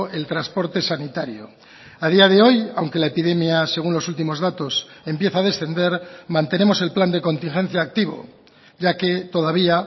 el transporte sanitario a día de hoy aunque la epidemia según los últimos datos empieza a descender mantenemos el plan de contingencia activo ya que todavía